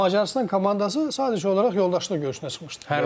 Macarıstan komandası sadəcə olaraq yoldaşlıq görüşünə çıxmışdı.